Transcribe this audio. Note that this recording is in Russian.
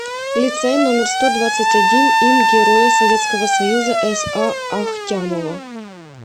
лицей номер сто двадцать один им героя советского союза са ахтямова